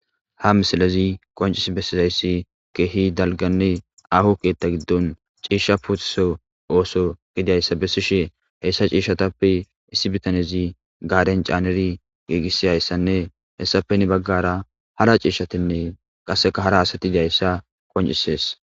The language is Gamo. Ha misilezi qoncis bessizayssi keehi dalganne aho keetta giddon ciishsha puutiso ooso gidiayssa bessishe heyssa ciishshatappe issi bitanezi gaaden caaneri geegissi hayssanne hessapeni baggara hara ciishshatinne qasseka hara asati idiayssa qoncisees